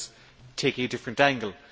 I was taking a different angle.